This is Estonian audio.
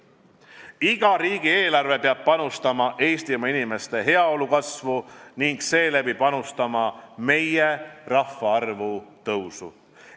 Iga riigieelarve peab panustama Eestimaa inimeste heaolu kasvu ning seeläbi panustama meie rahvaarvu suurenemisse.